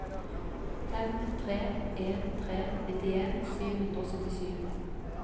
fem tre en tre nittien sju hundre og syttisju